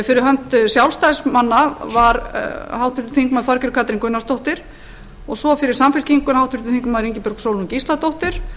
fyrir hönd sjálfstæðismanna var háttvirtur þingmaður þorgerður katrín gunnarsdóttir og fyrir samfylkinguna háttvirtur þingmaður ingibjörg sólrún gísladóttir